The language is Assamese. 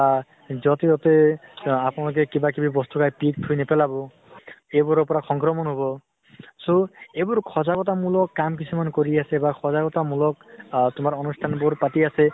বা যʼত সিহঁতে আ আপোনালোকে কিবা কিবি বস্তু খাই পিক খিনি থুই নেপেলাব। সেইবোৰৰ পৰা সঙ্ক্ৰমন হʼৱ। so, এইবোৰ সজাগতা মুলক কাম কিছুমান কৰি আছে বা সজাগতা মুলক আহ তোমাৰ অনুষ্ঠানবোৰ পাতি আছে